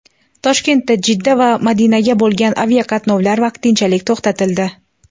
Toshkentdan Jidda va Madinaga bo‘lgan aviaqatnovlar vaqtinchalik to‘xtatildi.